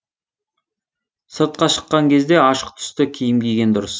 сыртқа шыққан кезде ашық түсті киім киген дұрыс